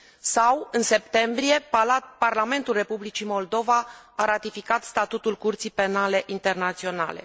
De asemenea, în septembrie, Parlamentul Republicii Moldova a ratificat Statutul Curții Penale Internaționale.